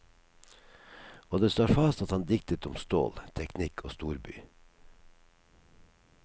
Og det står fast at han diktet om stål, teknikk og storby.